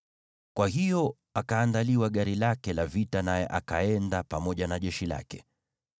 Kwa hiyo akaandaliwa gari lake la vita, naye akaenda pamoja na jeshi lake.